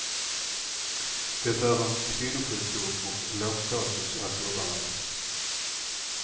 Det är en kvinnosjukdom och lågstatus att jobba med.